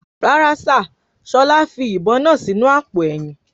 Rárá sìr, Ṣọlá fi ìbon náà sì inú àpò èyìn